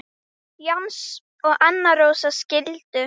Jens og Anna Rósa skildu.